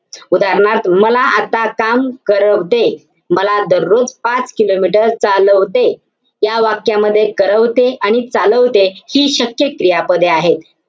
उदाहरणार्थ, मला आता काम करवते. मला दररोज पाच kilometer चालवते. या वाक्यामध्ये करवते आणि चालवते हि शक्य क्रियापदे आहे.